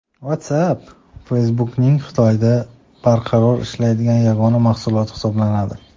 WhatsApp – Facebook’ning Xitoyda barqaror ishlaydigan yagona mahsuloti hisoblanadi.